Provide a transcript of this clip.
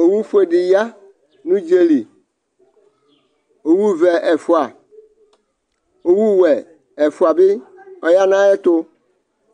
Owufue dɩ ya nʋ udzǝli Owʋvɛ ɛfʋa Owʋwɛ ɛfʋa bɩ aya nʋ ayɛtʋ